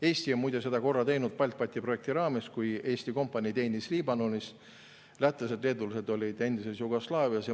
Eesti on muide seda korra teinud, BALTBAT‑i projekti raames, kui Eesti kompanii teenis Liibanonis ning lätlased ja leedulased olid endises Jugoslaavias.